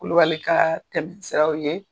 Kulubali kaa tɛm siraw ye.